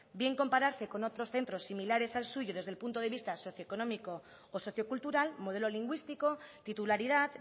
bien compararse con otros centros similares al suyo desde el punto de vista socioeconómico o sociocultural modelo lingüístico titularidad